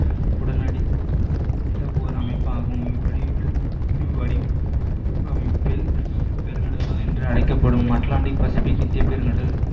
உடனடி ஓர் அமைப்பாகும் பெருங்கடல்கள் என்று அழைக்கப்படும் அட்லாண்டிக், பசிபிக், இந்தியப் பெருங்கடல்